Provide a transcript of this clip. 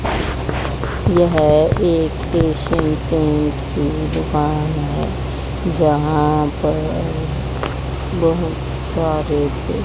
यह एक Asian paint की दुकान है जहां पर बहोत सारे--